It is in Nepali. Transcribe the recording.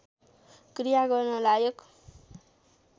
क्रिया गर्न लायक